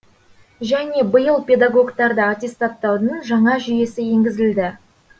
және биыл педагогтарды аттестаттаудың жаңа жүйесі енгізілді